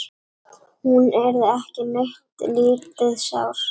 Hún yrði ekki neitt lítið sár.